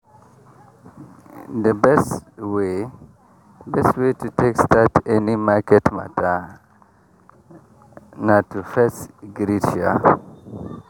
the best way best way to take start any market mata na to fess greet um